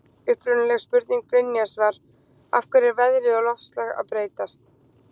Upprunaleg spurning Brynjars var: Af hverju er veðrið og loftslag að breytast?